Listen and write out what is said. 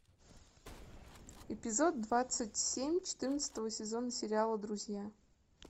эпизод двадцать семь четырнадцатого сезона сериала друзья